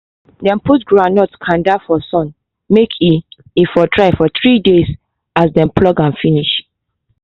dey put groundnut kanda for sun may e e for dry for three days as dey pluck am finish